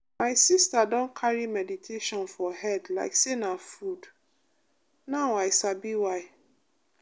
my sister don carry meditation for head like say na food. now i sabi why.